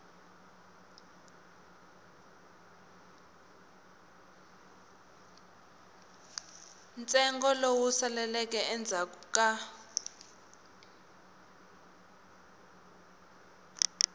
ntsengo lowu saleleke endzhaku ku